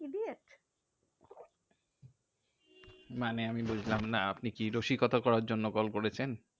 মানে আমি বুঝলাম না, আপনি কি রসিকতা করার জন্য কল করেছেন?